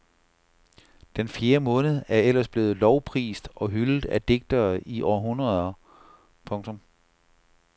Den fjerde måned er ellers blevet lovprist og hyldet af digtere i århundreder. punktum